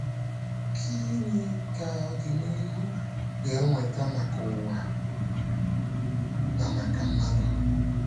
“Kí nì ka ọdịnìhù gà-ewetà maka ǔwa na maka mmadụ?”